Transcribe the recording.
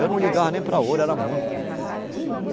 Eu não ligava nem para ouro, era muito.